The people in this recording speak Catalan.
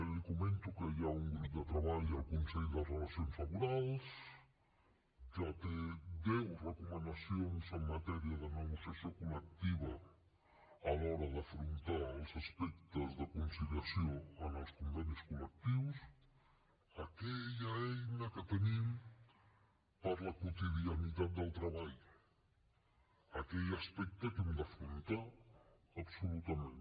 li comento que hi ha un grup de treball al consell de relacions laborals que té deu recomanacions en matèria de negociació col·lectiva a l’hora d’afrontar els aspectes de conciliació en els convenis col·lectius aquella eina que tenim per a la quotidianitat del treball aquell aspecte que hem d’afrontar absolutament